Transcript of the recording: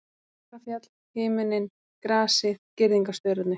Akrafjall, himinninn, grasið, girðingarstaurarnir.